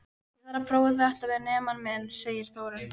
Ég þarf að prófa þetta við nemann minn, segir Þórunn.